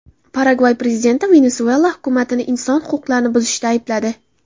Paragvay prezidenti Venesuela hukumatini inson huquqlarini buzishda aybladi.